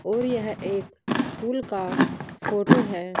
और यह एक स्कूल का फोटो है।